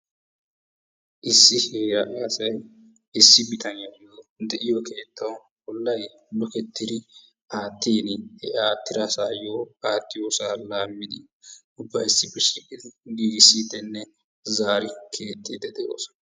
issi hiradhiya asay issi bitaniyawu de'iyo keettawu olay lukketidi aattiini he aatidasaayo aattiyosaa laamidi ubbay issippe shiiqidi giigisiidinne zaari kexidi de'oosona.